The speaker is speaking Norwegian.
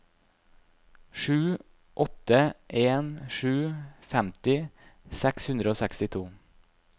sju åtte en sju femti seks hundre og sekstito